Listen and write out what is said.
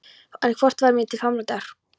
En hvort það varð mér til framdráttar!!